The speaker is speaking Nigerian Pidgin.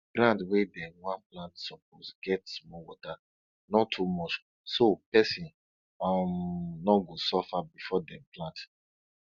ground wey dem wan plant suppose get small water not too much so person um no go suffer before dem plant